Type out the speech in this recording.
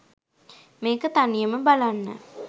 මේක තනියම බලන්න